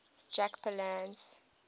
jack palance